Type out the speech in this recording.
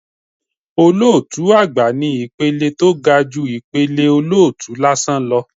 Olótùú àgbà ni ìpele tó ga ju ìpele olótùú lásán lọ